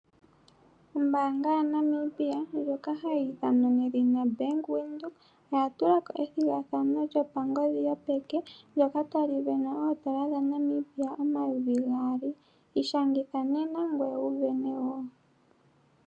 Ombaanga ya Namibia ndjoka hayiithanwa nedhina Bank Windhoek, oyatulako ethigathano lyopangodhi yopeke ndyoka tali venwa oondola dha Namibia omayovi gaali. Ishangitha nena ngweye wuvene woo.